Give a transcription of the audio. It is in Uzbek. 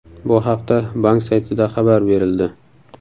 Bu haqda bank saytida xabar berildi .